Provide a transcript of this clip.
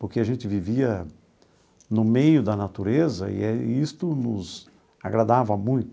Porque a gente vivia no meio da natureza e isto nos agradava muito.